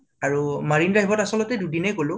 আৰু মাৰিণ drive ত আচলতে দুদিনে গলো